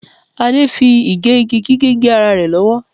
Adé fi igẹ igi gé ara rẹ̀ lọ́wọ́.